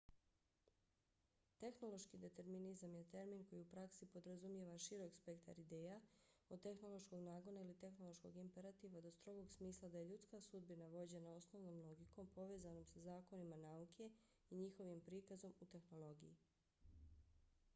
tehnološki determinizam je termin koji u praksi podrazumijeva širok spektar ideja od tehnološkog nagona ili tehnološkog imperativa do strogog smisla da je ljudska sudbina vođena osnovnom logikom povezanom sa zakonima nauke i njihovim prikazom u tehnologiji